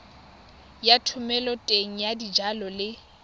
ya thomeloteng ya dijalo le